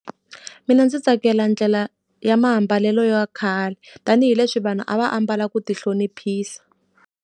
Mina ndzi tsakela ndlela ya mambalelo ya khale, tanihileswi vanhu a va ambala ku ti hloniphisa.